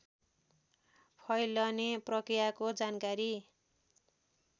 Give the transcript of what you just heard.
फैलने प्रकृयाको जानकारी